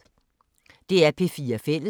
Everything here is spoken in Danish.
DR P4 Fælles